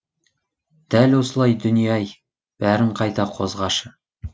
дәл осылай дүние ай бәрін қайта қозғашы